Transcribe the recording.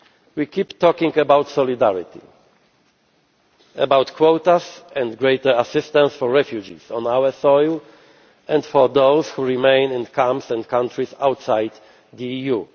We keep talking about solidarity, about quotas and greater assistance for refugees on our soil, and for those who remain in camps in countries outside the